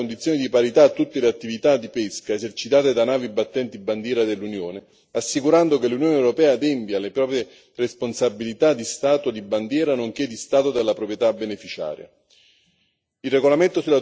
La proposta in questione garantirà condizioni di parità a tutte le attività di pesca esercitate da navi battenti bandiera dell'Unione assicurando che l'Unione europea adempia alle proprie responsabilità di Stato di bandiera nonché di Stato della proprietà beneficiaria.